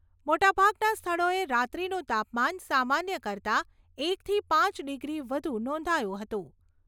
મોટાભાગના સ્થળોએ રાત્રીનું તાપમાન સામાન્ય કરતાં એકથી પાંચ ડિગ્રી વધુ નોંધાયું હતું.